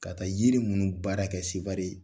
Ka taa yiri ninnu baara kɛ Sevare.